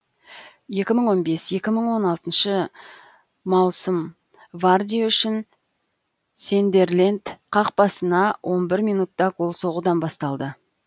екі мың он бес екі мың он алтыншы маусым варди үшін сандерленд қақпасыңа он бір минутта гол соғудан басталды